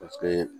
Paseke